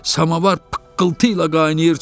Samovar pıqqıltı ilə qaynayır.